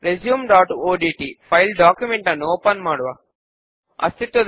పై దానిని ఫామ్ అని క్రింద దానిని సబ్ ఫామ్ అని అంటారు